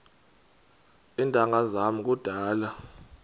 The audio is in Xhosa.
iintanga zam kudala